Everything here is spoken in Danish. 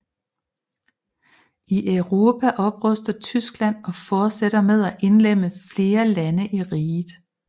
I Europa opruster Tyskland og fortsætter med at indlemme flere lande i Riget